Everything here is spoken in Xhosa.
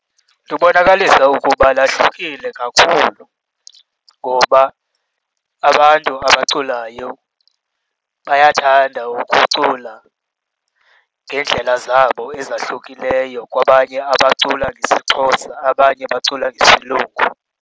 Lubonakalisa ukuba lahlukile kakhulu, ngoba abantu abaculayo bayathanda ukucula ngeendlela zabo ezahlukileyo kwabanye abacula ngesiXhosa, abanye bacula ngesilungu.